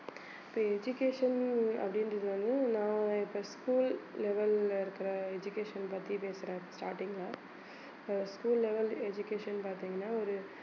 இப்ப education அப்படின்றது வந்து நான் இப்ப school level ல இருக்கிற education பத்தி பேசுறேன் starting ல அஹ் school level education பாத்தீங்கன்னா ஒரு